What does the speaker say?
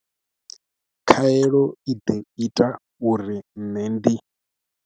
Khaelo i ḓo ita uri nṋe ndi.